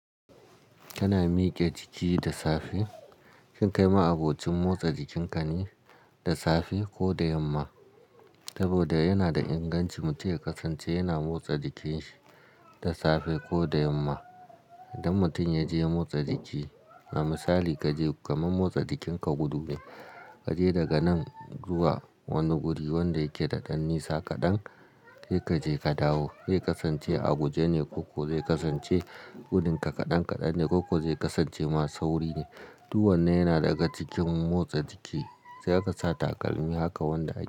Kana miƙe jiki da safe, shin kai ma'abocin motsa jikinka ne da safe ko da yamma? Saboda yana da inganci mutum ya kasance yana motsa jikinsa da safe ko da yamma. Idan mutum ya je motsa jiki, na misali kaje kaman motsa jikinka gudume, kaje daga nan zuwa wani guri wanda yake da ɗan nisa kaɗan sai kaje ka dawo. Zai kasance a guje ne ko kuwa zai kasance gudun ka kaɗan kaɗan ne ko kuwa zai kasance ma sauri ne? Duk wannan yana daga cikin motsa jiki. Sai aka sa takalmi haka wanda ake.